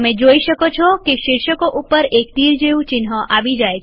તમે જોઈ શકો છો કે શીર્ષકો ઉપર એક તીર જેવું ચિહ્ન આવી જાય છે